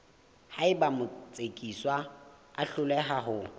haeba motsekiswa a hloleha ho